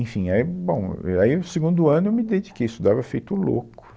Enfim, aí, bom, aí o segundo ano eu me dediquei, estudava feito louco.